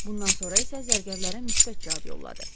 Bundan sonra isə zərgərlərə müsbət cavab yolladı.